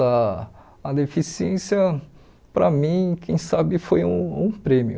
Ah a deficiência, para mim, quem sabe foi um um prêmio.